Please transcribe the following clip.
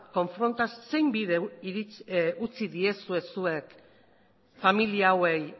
zein bide utzi diezue zuek familia hauei